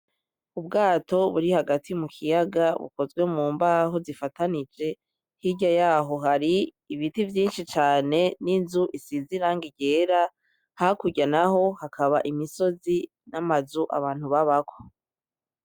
Ubwato buri hagati mu kiyaga bukozwe mu mbaho zifatanije , hirya yaho hari ibiti vyinshi cane n'inzu isize irangi ryera hakurya naho hakaba imisozi n'amazu abantu babako